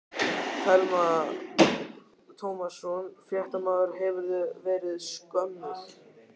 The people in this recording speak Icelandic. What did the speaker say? Telma Tómasson, fréttamaður: Hefurðu verið skömmuð?